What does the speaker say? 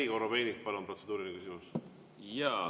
Andrei Korobeinik, palun, protseduuriline küsimus!